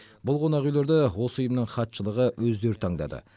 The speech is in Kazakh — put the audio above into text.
бұл қонақүйлерді осы ұйымның хатшылығы өздері таңдады